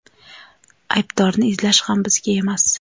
Aybdorni izlash ham bizga emas.